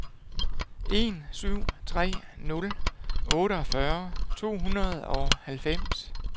en syv tre nul otteogfyrre to hundrede og halvfems